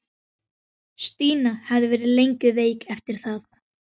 Stína hafði verið lengi veik eftir það.